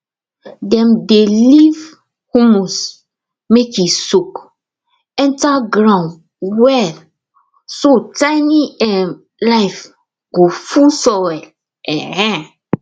dem dey leave humus make e soak enter ground well so tiny um life go full soil um